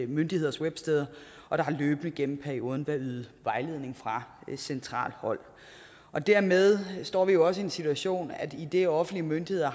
myndigheders websteder og der har gennem perioden løbende været ydet vejledning fra centralt hold dermed står vi jo også i den situation idet offentlige myndigheder